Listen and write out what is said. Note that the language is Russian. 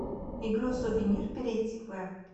игру сувенир перейди в